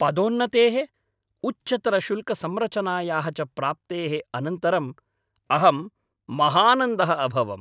पदोन्नतेः, उच्चतरशुल्कसंरचनायाः च प्राप्तेः अनन्तरम् अहं महानन्दः अभवम्।